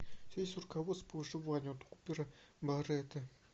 у тебя есть руководство по вышиванию от купера баррэта